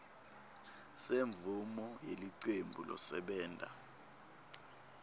semvumo yelicembu losebenta